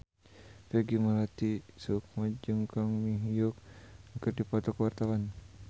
Peggy Melati Sukma jeung Kang Min Hyuk keur dipoto ku wartawan